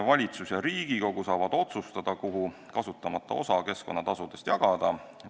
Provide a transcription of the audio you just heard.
Valitsus ja Riigikogu saavad otsustada, kuhu kasutamata osa keskkonnatasudest jagada.